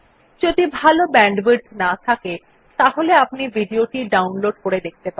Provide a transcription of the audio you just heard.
যদি ভাল ব্যান্ডউইডথ না থাকে তাহলে আপনি ভিডিও টি ডাউনলোড করে দেখতে পারেন